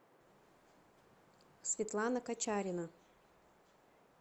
светлана качарина